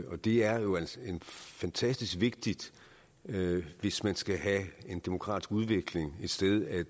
og det er jo fantastisk vigtigt hvis man skal have en demokratisk udvikling et sted at